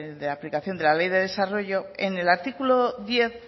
de aplicación de la ley de desarrollo en el artículo diez